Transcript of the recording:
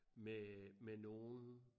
Med øh med nogen